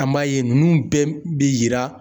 An b'a ye ninnu bɛɛ bi yira